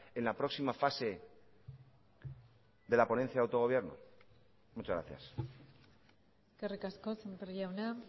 en la próxima fase de la ponencia de autogobierno muchas gracias eskerrik asko sémper jauna